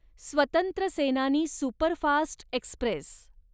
स्वतंत्र सेनानी superfast Express